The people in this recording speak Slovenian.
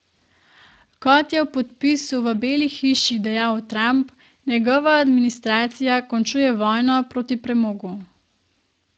Kot je ob podpisu v Beli hiši dejal Trump, njegova administracija končuje vojno proti premogu.